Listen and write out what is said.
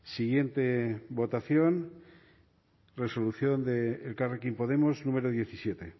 siguiente votación resolución de elkarrekin podemos número diecisiete